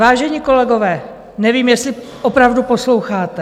Vážení kolegové, nevím, jestli opravdu posloucháte.